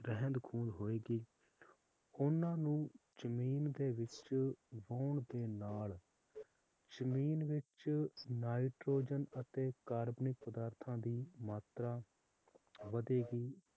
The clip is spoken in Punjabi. ਰਹਿੰਦ ਖੂੰਦ ਹੋਏਗੀ ਓਹਨਾ ਨੂੰ ਜਮੀਨ ਦੇ ਵਿਚ ਬੋਣ ਦੇ ਨਾਲ ਜਮੀਨ ਵਿਚ ਨਾਈਟ੍ਰੋਜਨ ਅਤੇ ਕਾਰਬਨਿਕ ਪਦਾਰਥਾਂ ਦੀ ਮਾਤਰਾ ਵਧੇਗੀ